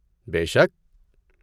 بے شک!